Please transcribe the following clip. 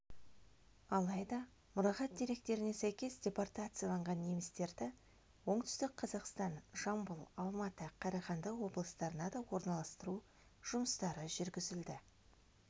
алайда мұрағат деректеріне сәйкес депортацияланған немістерді оңтүстік қазақстан жамбыл алматы қарағанды облыстарына да орналастыру жұмыстары жүргізілді